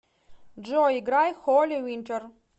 джой играй холли винтер